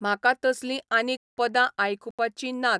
म्हाका तसलीं आनीक पदां आयकूपाचीं नात